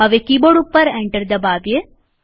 હવે કીબોર્ડ ઉપર એન્ટર દબાવીએ